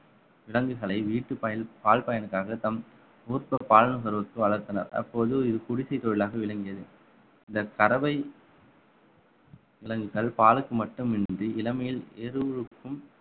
விலங்குகளை வீட்டுப் பயல்~ பால் பயன்களுக்காக தம் ஊர் நிறுவனத்துக்கு வளர்த்தனர் அப்போது இது குடிசைத் தொழிலாக விளங்கியது இந்தக் கறவை விலங்குகள் பாலுக்கு மட்டுமின்றி இளமையில்